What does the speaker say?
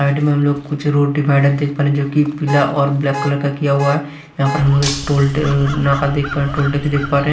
Side में हम लोग कुछ रोड डिवाइडर देख पा रहे हैं जोकि पीला और ब्लैक कलर का किया हुआ है यहाँ पर हम लोग एक टोल ट अ नाका देख पा रहे टोल टेक्स देख पा रहे हैं।